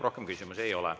Rohkem küsimusi ei ole.